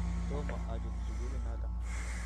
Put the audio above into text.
tomo achut sukulit noto